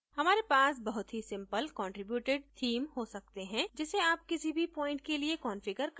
हमारे पास बहुत ही simple contributed theme हो सकते हैं जिसे आप किसी भी प्वाइंट के लिए कंफिगर कर सकते हैं